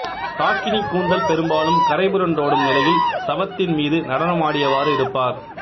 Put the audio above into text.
டாகினி கூந்தல் பெரும்பாலும் கரை புரண்டோடும் நிலையில் சவத்தின் மீது நடனமாடியவாறு இருப்பார்